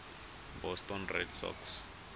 boston red sox